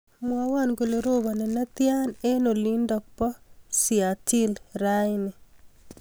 Mwowon kole robani netya eng olindo bo siatl rauni